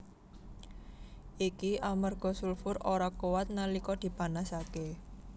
Iki amarga sulfur ora kuwat nalika dipanasaké